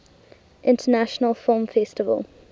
international film festival